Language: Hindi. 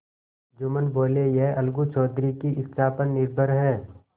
जुम्मन बोलेयह अलगू चौधरी की इच्छा पर निर्भर है